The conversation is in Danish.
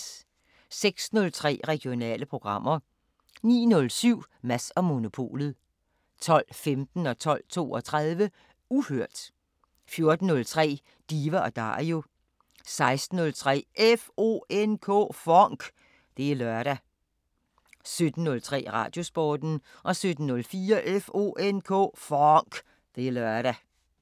06:03: Regionale programmer 09:07: Mads & Monopolet 12:15: Uhørt 12:32: Uhørt 14:03: Diva & Dario 16:03: FONK! Det er lørdag 17:03: Radiosporten 17:04: FONK! Det er lørdag